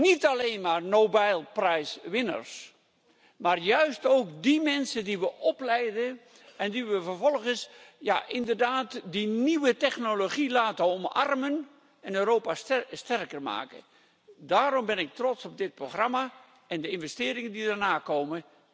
Niet alleen maar Nobelprijswinnaars, maar juist ook die mensen die we opleiden en die we vervolgens die nieuwe technologie laten omarmen en die Europa sterker maken. Daarom ben ik trots op dit programma en de investeringen die erna komen.